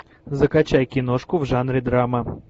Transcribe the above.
закачай киношку в жанре драма